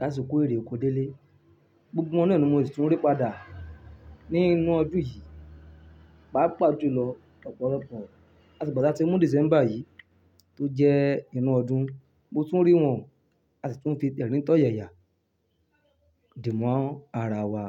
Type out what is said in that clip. láti kó èrè oko délé. Gbogbo wọn náà ni mo sì tún rí padà ní inú ọdún yìí, pàápàá jùlọ ọ̀pọ̀lọpọ̀. Àti ìgbà tí a ti mú December yìí tó jẹ́ inú ọdún, mo tún rí wọn àti tún fi tẹ̀ríntọ̀ yẹ̀yà dìmọ́ ara wa.